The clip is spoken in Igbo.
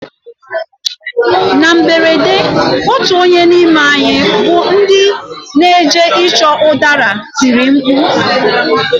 Na mberede otu onye n'ime anyị bụ ndị n'eje ịchọ ụdara tiri mkpu.